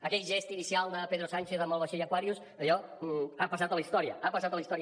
aquell gest inicial de pedro sánchez amb el vaixell aquarius allò ha passat a la història ha passat a la història